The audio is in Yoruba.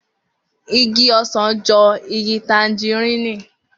Igi ọsàn jọ igi tanjirini